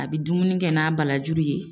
A bɛ dumuni kɛ n'a balajuru ye.